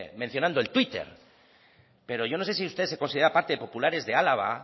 mencionando el twitter pero yo no se si usted se considera parte de populares de álava